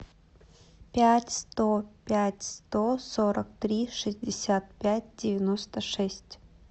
пять сто пять сто сорок три шестьдесят пять девяносто шесть